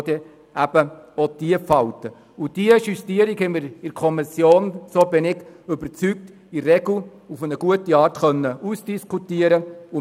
Ich bin überzeugt, dass wir diese Justierung in der Kommission auf eine gute Art ausdiskutieren konnten.